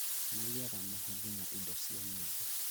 Maiyaga mũhothi na indo cia nyĩmbo